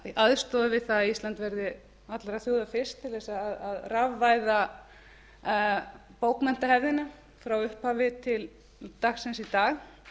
aðstoða við það að ísland verði allra þjóða fyrst til að rafvæða bókmenntarevíuna frá upphafi til dagsins í dag